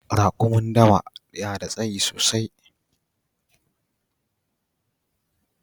Rakumin dawa na da tsayi sosai